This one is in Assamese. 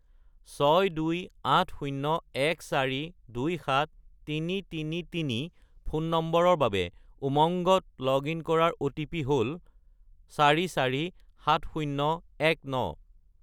62801427333 ফোন নম্বৰৰ বাবে উমংগত লগ-ইন কৰাৰ অ'টিপি হ'ল 447019